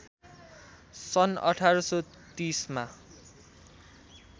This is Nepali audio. सन् १८३० मा